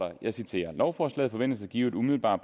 lovforslaget forventes at give en umiddelbar